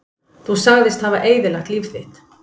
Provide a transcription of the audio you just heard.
Þú sagðist hafa eyðilagt líf þitt